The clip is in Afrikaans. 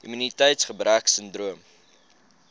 immuniteits gebrek sindroom